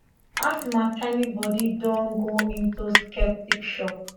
asma tiny body don go into septic shock